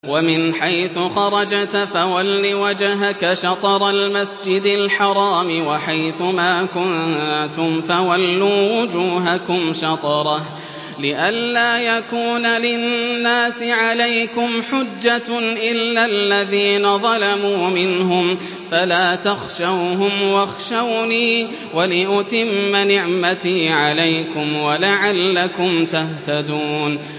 وَمِنْ حَيْثُ خَرَجْتَ فَوَلِّ وَجْهَكَ شَطْرَ الْمَسْجِدِ الْحَرَامِ ۚ وَحَيْثُ مَا كُنتُمْ فَوَلُّوا وُجُوهَكُمْ شَطْرَهُ لِئَلَّا يَكُونَ لِلنَّاسِ عَلَيْكُمْ حُجَّةٌ إِلَّا الَّذِينَ ظَلَمُوا مِنْهُمْ فَلَا تَخْشَوْهُمْ وَاخْشَوْنِي وَلِأُتِمَّ نِعْمَتِي عَلَيْكُمْ وَلَعَلَّكُمْ تَهْتَدُونَ